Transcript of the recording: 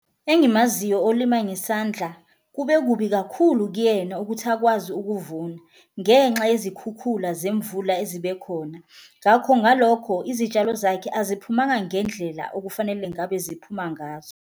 Engimaziyo olima ngesandla kube kubi kakhulu kuyena ukuthi akwazi ukuvuna ngenxa yezikhukhula zemvula ezibe khona, ngakho ngalokho izitshalo zakhe aziphumanga ngendlela okufanele ngabe ziphuma ngazo.